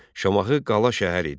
Şamaxı qala şəhəri idi.